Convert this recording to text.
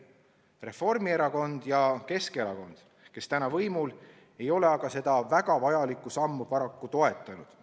Reformierakond ja Keskerakond, kes täna võimul, ei ole aga seda väga vajalikku sammu paraku toetanud.